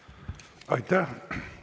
Aitäh!